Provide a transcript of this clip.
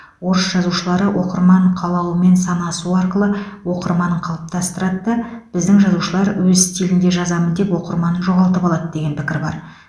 орыс жазушылары оқырман қалауымен санасу арқылы оқырманын қалыптастырады да біздің жазушылар өз стилінде жазамын деп оқырманын жоғалтып алады деген пікір бар